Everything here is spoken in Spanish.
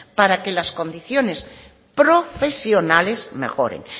para que las condiciones profesionales mejores